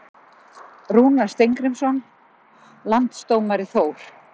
Rúnar Steingrímsson Landsdómari Þór